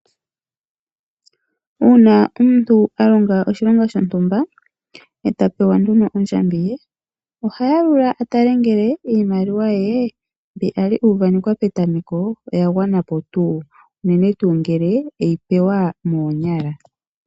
Uuna omuntu a longo oshilonga shontumba e ta pewa ondjambi ye oha yalula a tale ngele iimaliwa ye mbi a li uuvanekelwa petameko oya gwanapo unene ngele e yi pewa monyala.